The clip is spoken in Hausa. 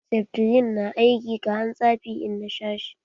Seftrin na aiki kaman tsafi in na sha shi.